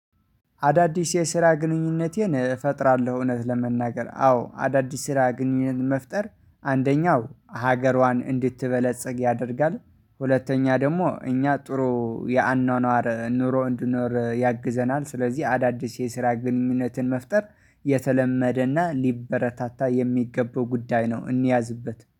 አዳዲስ የስራ ግንኙነቴን እፈጥራለሁ። እውነት ለመናገር አዎ አዳዲስ ስራ ግንኙነት መፍጠር አንደኛው ሀገሯን እንድትበለጽግ ያደርጋል። ሁለተኛ ደግሞ እኛ ጥሩ የአኗኗር ኑሮ እንድኖር ያግዘናል። ስለዚህ አዳዲስ የስራ ግንኙነትን መፍጠር የተለመደና ሊበረታታ የሚገባው ጉዳይ ነው። እንያዝበት